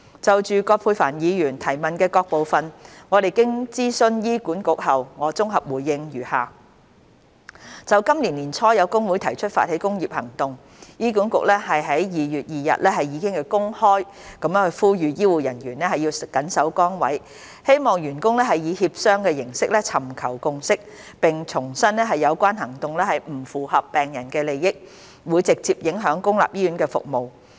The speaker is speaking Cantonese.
就葛珮帆議員提問的各部分，經諮詢醫管局後，我綜合回應如下。就今年年初有工會提出發起工業行動，醫管局於2月2日已公開呼籲醫護人員緊守崗位，希望員工以協商形式尋求共識，並重申有關行動不符合病人利益，會直接影響公立醫院服務。